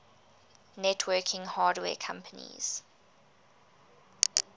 networking hardware companies